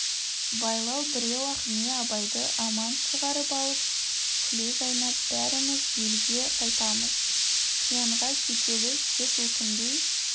байлау біреу-ақ не абайды аман шығарып алып күле жайнап бәріміз елге қайтамыз қиянға кетеді тек өкінбей